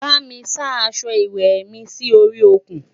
bá mí sá aṣọ ìwé mí Si orí òkun